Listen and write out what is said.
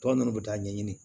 Tɔ ninnu bɛ taa ɲɛɲini